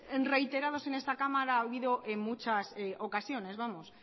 reiterados en esta cámara ha habido en muchas ocasiones